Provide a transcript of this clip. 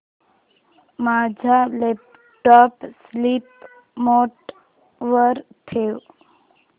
माझा laptop sleep mode वर ठेव